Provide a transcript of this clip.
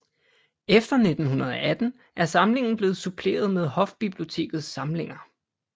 Efter 1918 er samlingen blevet suppleret med hofbibliotekets samlinger